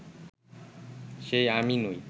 সে আমি নই